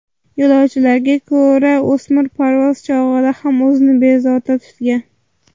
Yo‘lovchilarga ko‘ra, o‘smir parvoz chog‘ida ham o‘zini bezovta tutgan.